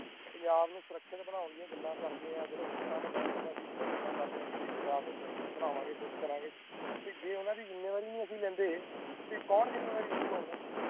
ਪੰਜਾਬ ਨੂੰ ਸੁਰਖਿਅਤ ਬਣਾ ਦਿਆਂ ਗੱਲਾਂ ਕਰਦੇ ਜਦੋ ਵੋਟਾਂ ਦਾ ਟਾਈਮ ਆਂਦਾ ਸੀ ਇਨ੍ਹਾਂ ਗੱਲਾਂ ਕਰਦੇ ਕਿ ਅਸੀਂ ਪੰਜਾਬ ਨੂੰ ਸੁਰਖਿਅਤ ਬਣਾ ਕੁਸ਼ ਕਰਾ ਗਏ ਤੇ ਜੇ ਉਨ੍ਹਾਂ ਦੀ ਜੁਮੇਵਾਰੀ ਅਸੀਂ ਨਹੀਂ ਲੈਦੇ ਤੇ ਕੌਣ ਲੈਗਾ ਜੁਮੇਵਾਰੀ